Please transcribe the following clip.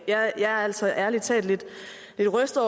jeg er altså ærlig talt lidt lidt rystet